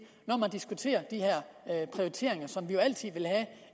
når man diskuterer de her prioriteringer som vi altid vil have